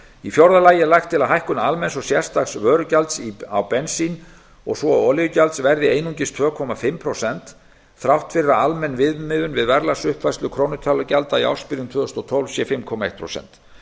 í fjórða lagi er lagt til að hækkun almenns og sérstaks vörugjalds á bensín og olíugjalds verði einungis tvö og hálft prósent þrátt fyrir að almenn viðmiðun við verðlagsuppfærslu krónutölugjalda í ársbyrjun tvö þúsund og tólf sé fimm komma eitt prósent